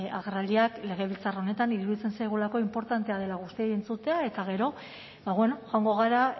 agerraldiak legebiltzar honetan iruditzen zaigulako inportantea dela guztiei entzutea eta gero ba bueno ba joango gara